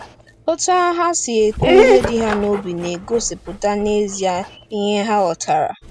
Otú ha si ekwu ihe dị ha n’obi na-egosipụta n’ezie ihe ha ghọtara.